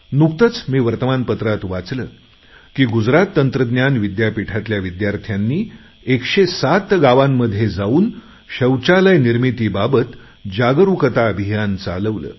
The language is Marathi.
नुकतेच मी वर्तमानपत्रात वाचले की गुजरात तंत्रज्ञान विद्यापीठातल्या विद्यार्थ्यांनी एकशे सात गावांमध्ये जाऊन शौचालय निर्मितीबाबत जागरुकता अभियान चालवलं